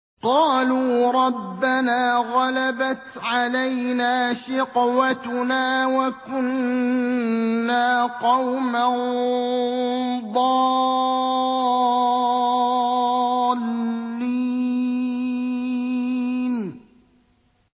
قَالُوا رَبَّنَا غَلَبَتْ عَلَيْنَا شِقْوَتُنَا وَكُنَّا قَوْمًا ضَالِّينَ